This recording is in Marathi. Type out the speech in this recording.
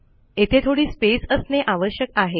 येथे थोडी स्पेस असणे आवश्यक आहे